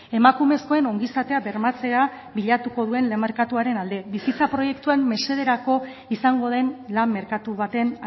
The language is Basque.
emakumezkoen ongizatea bermatzea bilatuko duen lan merkatuaren alde bizitza proiektuen mesederako izango den lan merkatu baten